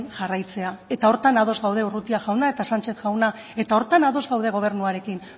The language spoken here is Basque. jarraitzea eta honetan ados gaude urrutia jauna eta sánchez jauna eta horretan ados gaude gobernuarekin